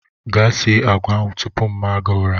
Gaa sie agwa ahụ tupu mma gi ụra!